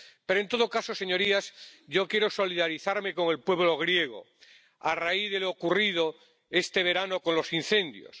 Pero, en todo caso, señorías, yo quiero solidarizarme con el pueblo griego a raíz de lo ocurrido este verano con los incendios.